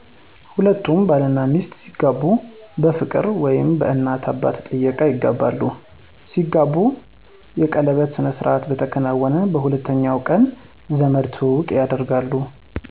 ሁለቱም ባል እናሚስት ሲጋቡ በፍቅር ወይም በእናት አባት ጥየቃ ይጋባሉ። ሲጋቡ የቀለበት ስነስርዓት በተከናወነ በሁለተኛ ቀን ዘመድ ትውውቅ ያደርጋሉ።